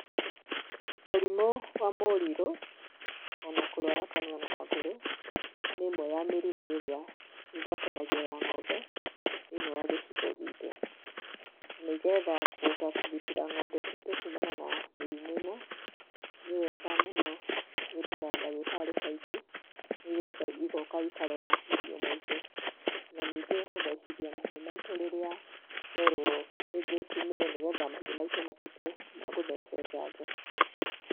Mũrimũ wa mũrirũ, ona kũrwara kanua na magũrũ, nĩ ĩmwe ya mĩrimũ ĩrĩa ĩgwatanagio ya ng'ombe, thĩinĩ wa gĩcigo gitũ, nĩgetha kũhota kũgitĩra ng'ombe citũ kumana na mĩrimũ ĩno, nĩwega mũno gwĩtaga ndagĩtarĩ kaingĩ, nĩgetha igoka ikarora mahiũ maitũ, na ningĩ gũthecithia mahiũ maitũ rĩrĩa twerwo rĩngĩ tũmire nĩgetha mahiũ matuĩke ma gũthecwo njanjo.